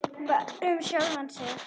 Bara um sjálfan sig.